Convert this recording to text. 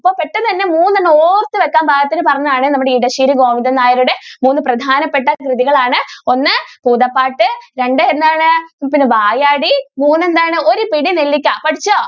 ഓർത്തു വെക്കാൻ പാകത്തിന് പറഞ്ഞതാണ് നമ്മുടെ ഇടശ്ശേരി ഗോവിന്ദൻ നായരുടെ മൂന്ന് പ്രധാനപ്പെട്ട കൃതികൾ ആണ് ഒന്ന് ഭൂതപാട്ട് രണ്ട് എന്താണ് വായാടി മൂന്ന് എന്താണ് ഒരു പിടി നെല്ലിക്ക പഠിച്ചോ?